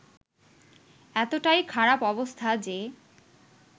এতটাই খারাপ অবস্থা যে